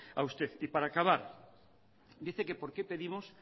a usted y para acabar dice que por qué pedimos